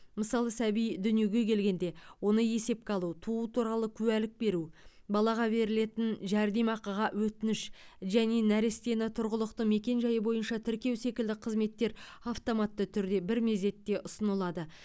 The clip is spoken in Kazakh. мысалы сәби дүниеге келгенде оны есепке алу туу туралы куәлік беру балаға берілетін жәрдемақыға өтініш және нәрестені тұрғылықты мекенжайы бойынша тіркеу секілді қызметтер автоматты түрде бір мезетте ұсынылады